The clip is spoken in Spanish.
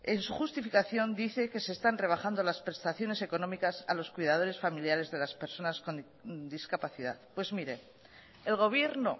en su justificación dice que se están rebajando las prestaciones económicas a los cuidadores familiares de las personas con discapacidad pues mire el gobierno